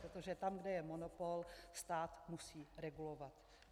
Protože tam, kde je monopol, stát musí regulovat.